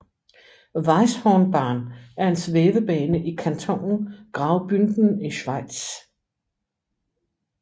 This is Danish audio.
Weisshornbahn er en svævebane i kantonen Graubünden i Schweiz